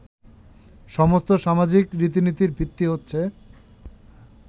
সমস্ত সামাজিক রীতিনীতির ভিত্তি হচ্ছে